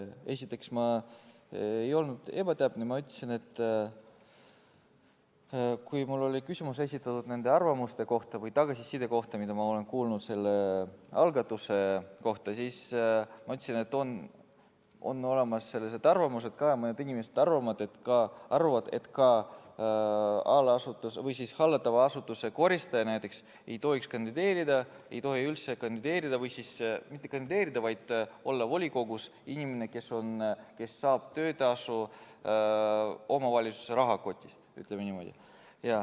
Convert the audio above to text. Esiteks, ma ei olnud ebatäpne, ma ütlesin, et kui mulle oli küsimus esitatud nende arvamuste või tagasiside kohta, mida ma olen selle algatuse kohta kuulnud, siis ma ütlesin, et mõned inimesed arvavad, et ka allasutuse või hallatava asutuse koristaja näiteks ei tohiks üldse kandideerida või volikogus ei tohiks olla inimene, kes saab töötasu omavalitsuse rahakotist, ütleme niimoodi.